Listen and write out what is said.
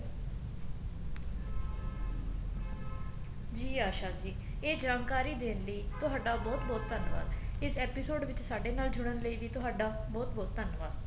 ਜੀ ਆਸ਼ਾ ਜੀ ਇਹ ਜਾਣਕਾਰੀ ਦੇਣ ਲਈ ਤੁਹਾਡਾ ਬਹੁਤ ਬਹੁਤ ਧੰਨਵਾਦ ਇਸ episode ਵਿੱਚ ਸਾਡੇ ਨਾਲ ਜੁੜਣ ਲਈ ਵੀ ਤੁਹਾਡਾ ਬਹੁਤ ਬਹੁਤ ਧੰਨਵਾਦ